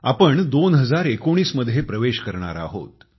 आपण 2019 मध्ये प्रवेश करणार आहोत